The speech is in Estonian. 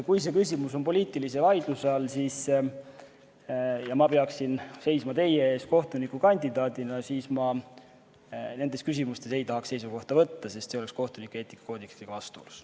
Kui see küsimus oleks poliitilise vaidluse all ja ma peaksin seisma teie ees kohtunikukandidaadina, siis ma nendes küsimustes ei tahaks seisukohta võtta, sest see oleks kohtunike eetikakoodeksiga vastuolus.